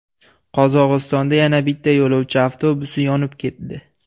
Qozog‘istonda yana bitta yo‘lovchi avtobusi yonib ketdi.